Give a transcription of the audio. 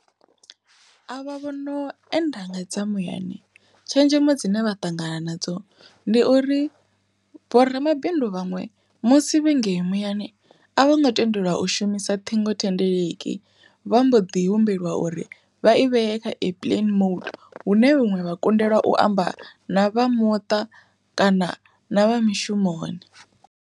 A vha vhono enda ngadza muyani tshenzhemo dzine vha ṱangana nadzo ndi uri, vhoramabindu vhaṅwe musi vhangei muyani a vho ngo tendelwa u shumisa ṱhingo thendeleki vha mbo ḓi humbelwa uri vha i vhee kha air plane mode hune huṅwe vha nga kundelwa u amba na vha muṱa kana na vha mishumoni.